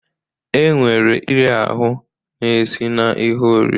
E nwere iri ahụ na-esi na ihe oriri